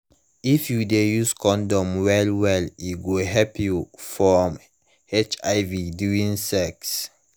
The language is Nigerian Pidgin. if u de use condom well well e go help you from hiv during sex